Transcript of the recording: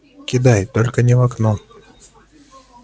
кидай только не в окно